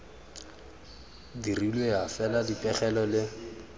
dirilwe ya fela dipegelo le